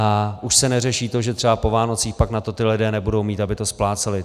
A už se neřeší to, že třeba po Vánocích pak na to ti lidé nebudou mít, aby to spláceli.